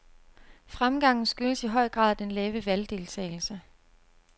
Fremgangen skyldes i høj grad den lave valgdeltagelse.